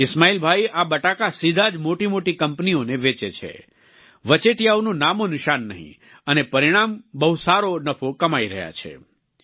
ઈસ્માઈલભાઈ આ બટાકા સીધા જ મોટીમોટી કંપનીઓને વેચે છે વચેટિયાઓનું નામોનિશાન નહીં અને પરિણામ બહુ સારો નફો કમાઈ રહ્યા છે